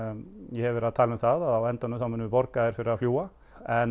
ég hef verið að tala um að á endanum munum við borga þér fyrir að fljúga en